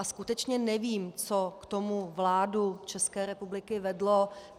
A skutečně nevím, co k tomu vládu České republiky vedlo.